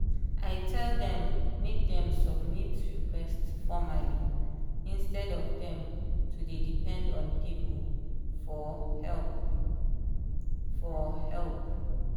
i tell dem make dem submit request formerly instead of dem to dey depend on people for help. for help.